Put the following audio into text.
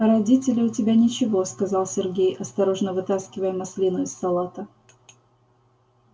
а родители у тебя ничего сказал сергей осторожно вытаскивая маслину из салата